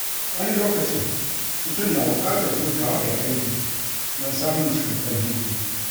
Wani lokacin, mutum na buƙatar hutawa daga aiki don samun cikakken hutu.